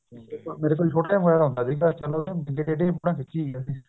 ਮੇਰੇ ਕੋਲ ਛੋਟਾ ਮੋਬਾਇਲ ਹੁੰਦਾ ਸੀਗਾ